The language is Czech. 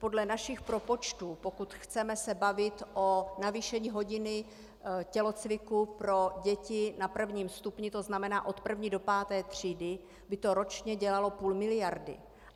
Podle našich propočtů, pokud se chceme bavit o navýšení hodiny tělocviku pro děti na prvním stupni, to znamená od 1. do 5. třídy, by to ročně dělalo půl miliardy.